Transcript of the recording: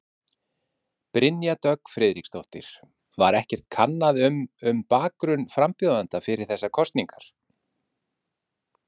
Brynja Dögg Friðriksdóttir: Var ekkert kannað um um bakgrunn frambjóðenda fyrir þessar kosningar?